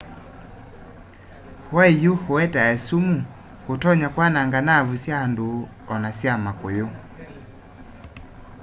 waiyũ ũetae sumu ũtonya kwananga naavu sya andũ ona sya makũyũ